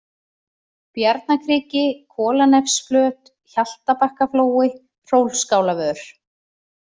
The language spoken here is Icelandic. Bjarnakriki, Kolanefsflöt, Hjaltabakkaflói, Hrólfsskálavör